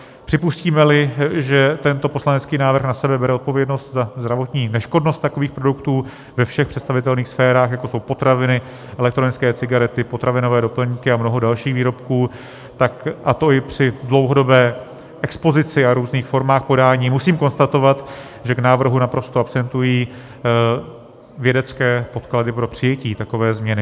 Připustíme-li, že tento poslanecký návrh na sebe bere odpovědnost za zdravotní neškodnost takových produktů ve všech představitelných sférách, jako jsou potraviny, elektronické cigarety, potravinové doplňky a mnoho dalších výrobků, a to i při dlouhodobé expozici a různých formách podání, musím konstatovat, že k návrhu naprosto absentují vědecké podklady pro přijetí takové změny.